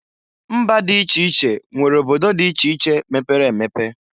Mba dị iche iche nwere obodo dị iche iche mepere emepe.